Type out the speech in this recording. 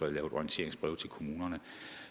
lavet orienteringsbreve til kommunerne